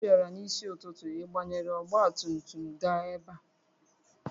Ị bịara n'isi ụtụtụ, ị banyere ọgba tum tum gaa ebe a?